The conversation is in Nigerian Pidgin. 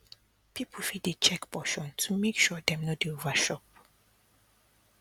people fit dey check portion to make sure say dem no dey overchop